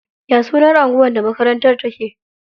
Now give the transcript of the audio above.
Ya sunan anguwar da makarantar take?